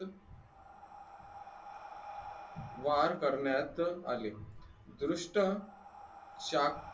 वार करण्यात आले दुष्ट शाखा